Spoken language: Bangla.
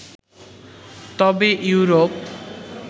তবে ইউরোপ